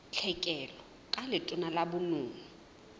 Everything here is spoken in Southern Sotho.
tlhekelo ka letona la bonono